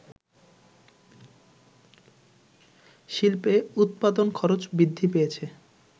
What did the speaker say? শিল্পে উৎপাদন খরচ বৃদ্ধি পেয়েছে